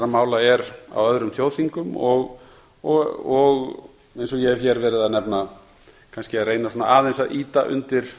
mála er á öðrum þjóðþingum og eins og ég hef hér verið að nefna kannski að reyna aðeins að ýta undir